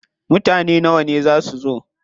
Mutane nawa ne za su zo?